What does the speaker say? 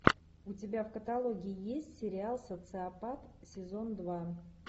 у тебя в каталоге есть сериал социопат сезон два